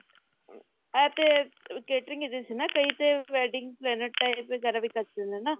ਇਹ ਤੇ catering ਹੈਗੀ ਸੀ ਨਾ ਕਈ ਤੇ wedding planet type ਵਗੇਰਾ ਵੀ ਕਰ ਸਕਦੇ ਨੇ ਨਾ